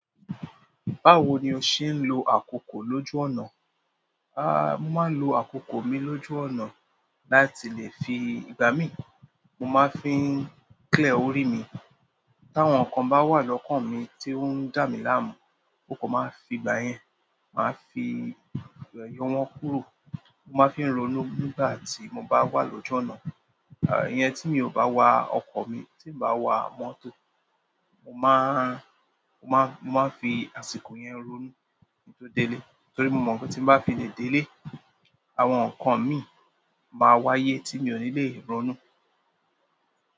Báwo ni o ṣe ń lo àkókò lójú ọ̀nà? A, mo máa ń lo àkókò mi lójú ọ̀nà láti lè fi ìgbà mí. Mo máa ń fi clear orí mi. Táwọn nǹkan bá wà lọ́kàn mi tí ó ń dà mí láàmú, mo kàn máa fi ìgbà yẹn, màá fi yọ wọ́n kúrò. Mo máa ń fí ronú nígbà tí mo bá wà lójú ọ̀nà. A, ìyẹn tí mi ò bá wa ọkọ̀ mi, tí bá wa mọ́tò, mo máa, mo máa, mo máa ń fi àsìkò yẹn ronú kí n tó délé torí mo mọ̀ pé tí bá fi lè délé, àwọn nǹkan mi máa wáyé tí mi ò ní lè ronú.